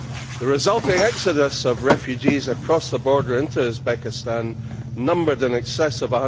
The resulting exodus of refugees across the border into Uzbekistan numbered in excess of